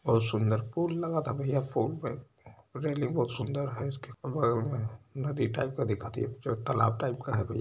बहोत सुंदर पुल लगा था भैया पुल पर रैलिंग बहुत सुंदर है। इसके पुलवा में नदी टाइप का दिखाती तलाब टाइप का है भैय्या जी।